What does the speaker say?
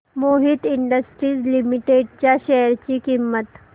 Mohit industries limited च्या share ची किंमत